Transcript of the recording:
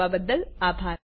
જોડાવા બદ્દલ આભાર